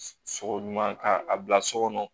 Sogo ɲuman k'a bila so kɔnɔ